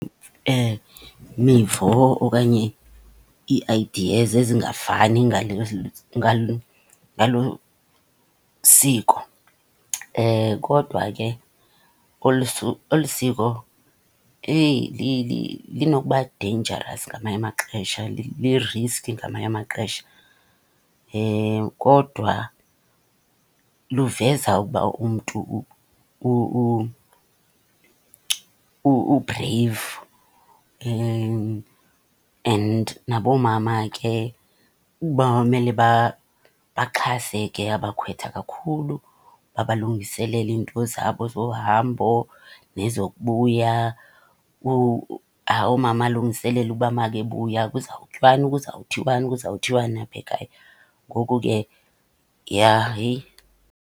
Mivo okanye ii-ideas ezingafani ngalo siko. Kodwa ke olu , olu siko eyi linokuba deyinjarasi ngamanye amaxesha, liriski ngamanye amaxesha, kodwa luveza ukuba umntu u-brave. And nabo mama ke bamele baxhase ke abakhwetha kakhulu, babalungiselele iinto zabo zohambo nezokubuya. Umama alungiselele uba makebuya kuzawutyiwani, kuzawuthiwani, kuzawuthiwani apha ekhaya. Ngoku ke ja heyi.